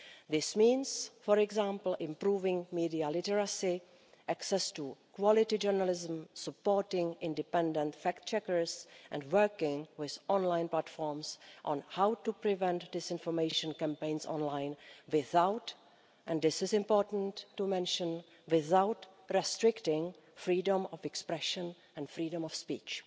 This means, for example, improving media literacy, access to quality journalism, supporting independent fact checkers and working with online platforms on how to prevent disinformation campaigns online without and this is important to mention restricting freedom of expression and freedom of speech.